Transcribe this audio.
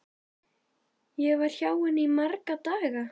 Ég var hjá henni í marga daga.